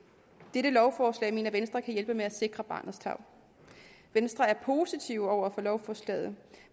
og dette lovforslag mener venstre kan hjælpe med at sikre barnets tarv venstre er positiv over for lovforslaget